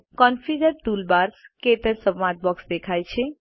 configure toolbars - ક્ટચ સંવાદ box દેખાય છે